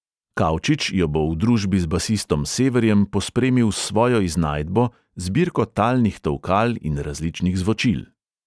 Kaučič jo bo v družbi z basistom severjem pospremil s svojo iznajdbo, zbirko talnih tolkal in različnih zvočil.